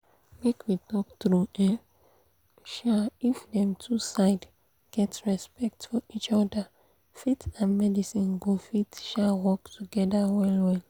make we talk true eh um if dem two side get respect for each other faith and medicine go fit um work together well well